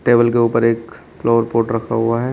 Table के ऊपर एक फ्लावर पॉट रखा हुआ है।